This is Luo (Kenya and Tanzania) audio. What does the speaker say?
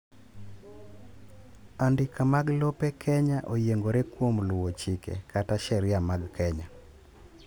andika mag lope kenya oyiengore kuom luwo chike kata sheria mag Kenya